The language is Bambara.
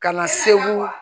Ka na segu